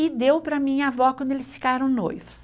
E deu para a minha avó quando eles ficaram noivos.